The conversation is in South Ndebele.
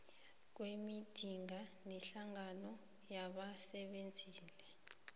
kwemidiya nehlangano yabasebenzeli